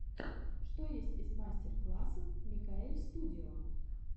что есть из мастер классов микаэльстудио